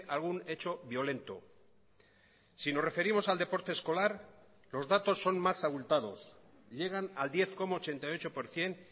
algún hecho violento si nos referimos al deporte escolar los datos son más abultados llegan al diez coma ochenta y ocho por ciento